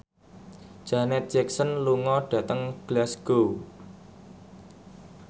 Janet Jackson lunga dhateng Glasgow